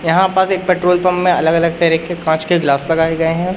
यहां पास एक पेट्रोल पंप में अलग-अलग तरीके कांच के ग्लास लगाए गए हैं।